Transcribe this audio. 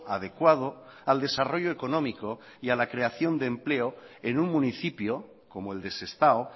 adecuado al desarrollo económico y a la creación de empleo en un municipio como el de sestao